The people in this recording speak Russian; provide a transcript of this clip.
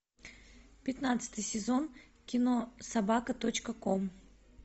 пятнадцатый сезон кино собака точка ком